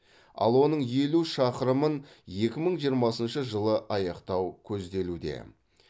ал оның елу шақырымын екі мың жиырмасыншы жылы аяқтау көзделуде